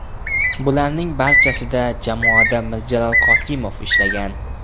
Bularning barchasida jamoada Mirjalol Qosimov ishlagan.